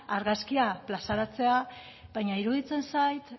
argazkia plazaratzea baina iruditzen zait